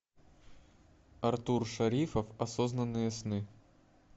артур шарифов осознанные сны